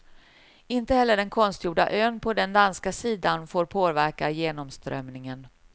Inte heller den konstgjorda ön på den danska sidan får påverka genomströmningen.